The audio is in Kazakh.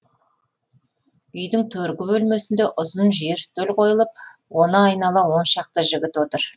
үйдің төргі бөлмесінде ұзын жер үстел қойылып оны айнала он шақты жігіт отыр